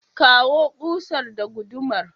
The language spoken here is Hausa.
ka kawu ƙusar da gudumar.